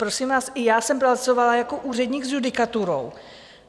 Prosím vás, i já jsem pracovala jako úředník s judikaturou.